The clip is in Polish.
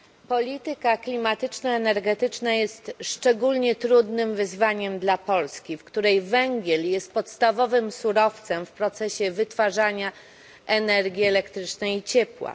Polityka klimatyczno energetyczna jest szczególnie trudnym wyzwaniem dla Polski, w której węgiel jest podstawowym surowcem w procesie wytwarzania energii elektrycznej i ciepła.